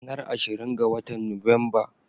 Ranar ashirin ga watan Nuwamba.